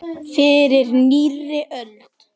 Fyrir nýrri öld!